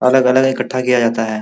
अलग-अलग इकठ्ठा किया जाता है।